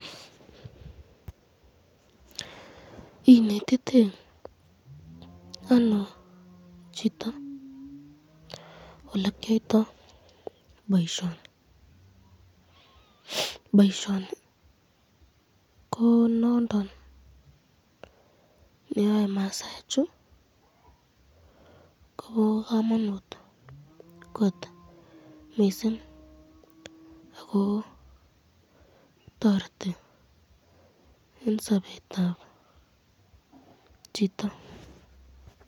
Inetitei ano chito olekyoto boisyoni, boisyoni ko nondon neaye masaik chu ko bo kamanut kot mising ako toreti eng sabetab chito.